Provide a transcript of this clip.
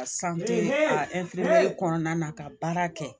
kɔnɔna na ka baara kɛ